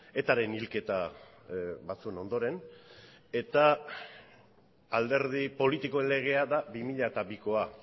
etaren hilketa batzuen ondoren eta alderdi politikoen legea da bi mila bikoa